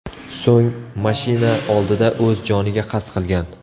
So‘ng mashina oldida o‘z joniga qasd qilgan.